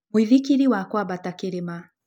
Mũĩthĩkĩrĩ wa kwabata kĩrĩma.